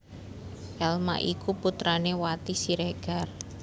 Elma iku putrané Wati Siregar